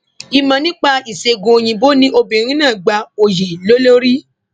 ìmọ nípa ìṣègùn òyìnbó ni obìnrin náà gba oyè lé lórí